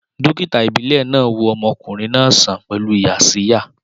Dókítà ìbílẹ̀ náà wo ọmọkùnrin náà sàn pẹ̀lú Yaxiya